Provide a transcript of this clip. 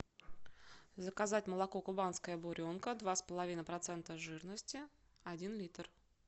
заказать молоко кубанская буренка два с половиной процента жирности один литр